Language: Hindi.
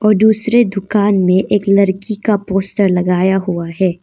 और दूसरे दुकान में एक लड़की का पोस्टर लगाया हुआ है।